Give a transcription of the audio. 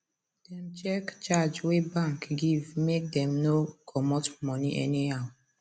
dem check charge wey bank give make dem no comot money anyhow